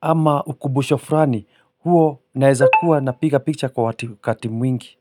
ama ukumbusho fulani huo naeza kuwa na piga picha kwa wakati mwingi.